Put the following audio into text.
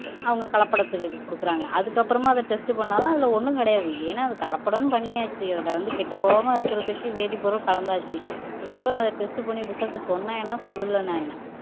அவங்க கலப்படத்துக்கு கொடுக்குறாங்க அதுக்கப்புறமா அதை டெஸ்ட் பண்ணாலும் அதுல ஒண்ணும் கிடையாது ஏன்னா அது கலப்படம்ன்னு பண்ணியாச்சு அதுல வந்து கெட்டுப்போகாமல் இருக்கிறதுக்கு வேதிப்பொருள் கலந்தாச்சு இதுக்கு அப்புறம் அதை டெஸ்ட் பண்ணி ரிசல்ட் சொன்னீங்கன்னா சொல்லலைன்னா என்ன